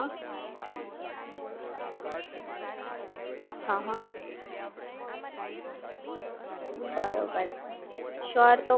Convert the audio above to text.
બરોબર, શ્યોર તો પછી હું Google pay download કરીએ Use કરી અને પછી તમને જણાવ્યું કે મારો XP Reigns કેવો રહ્યો અને જો કશું કઈ જરૂર હશે હેલ્પની તો હું તમને કોલ કરીશ,